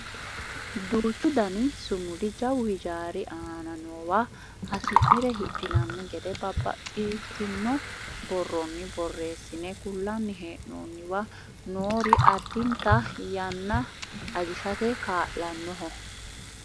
duuchu dani sumudi jawu hijaari aana noowa hasi'nire hidhinanni gede babbaxxitino borrronni borreessine kullanni hee'noonniwa noori addinta yanna ajishate kaa'lannoho